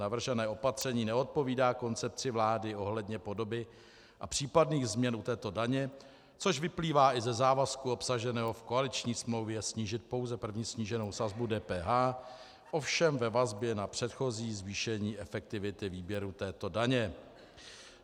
Navržené opatření neodpovídá koncepci vlády ohledně podoby a případných změn u této daně, což vyplývá i ze závazku obsaženého v koaliční smlouvě snížit pouze první sníženou sazbu DPH, ovšem ve vazbě na předchozí zvýšení efektivity výběru této daně.